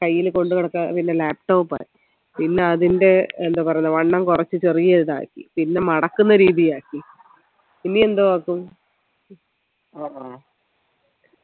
കയ്യിൽ കൊണ്ട് നടക്കുന്ന പിന്നെ laptop ആയി പിന്നാ അതിൻറെ എന്താ പറയുന്നേ വണ്ണം കുറച്ചു ചെറിയ ഒരിതാക്കി പിന്നാ മടക്കുന്ന രീതിയാക്കി ഇനി എന്തോ ആക്കും